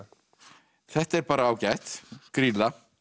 þetta er bara ágætt Grýla